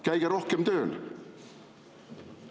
Käige rohkem tööl!